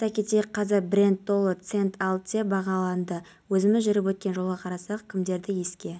ауа райы сақталады кей жерлерде жаңбыр күтіледі найзағай болады бұршақ жаууы мүмкін деп хабарлайды қазгидромет